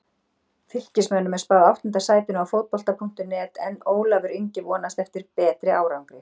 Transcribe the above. Fylkismönnum er spáð áttunda sætinu á Fótbolta.net en Ólafur Ingi vonast eftir betri árangri.